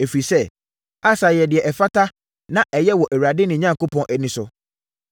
ɛfiri sɛ, Asa yɛɛ deɛ ɛfata na ɛyɛ wɔ Awurade, ne Onyankopɔn, ani so.